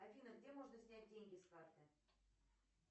афина где можно снять деньги с карты